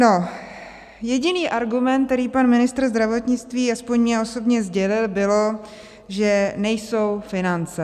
No, jediný argument, který pan ministr zdravotnictví aspoň mně osobně sdělil, byl, že nejsou finance.